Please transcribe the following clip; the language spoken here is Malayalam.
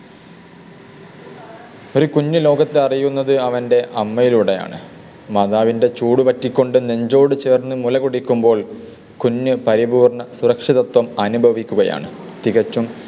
ഒരു കുഞ്ഞു ലോകത്തു അറിയുന്നത് അവൻ്റെ അമ്മയിലൂടെയാണ്. മാതാവിൻ്റെ ചൂട് പറ്റിക്കൊണ്ട് നെഞ്ചോട് ചേർന്ന് മുല കുടിക്കുമ്പോൾ കുഞ്ഞു പരിപൂർണ്ണ സുരക്ഷിതത്വം അനുഭവിക്കുകയാണ്. തികച്ചും